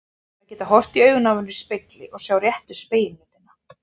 Að geta horft í augun á mér í spegli og sjá réttu spegilmyndina.